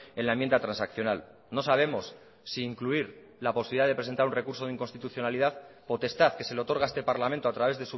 en la enmienda transaccional no sabemos si incluir la posibilidad de presentar un recurso de inconstitucionalidad potestad que se le otorga a este parlamento a través